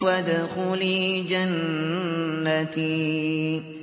وَادْخُلِي جَنَّتِي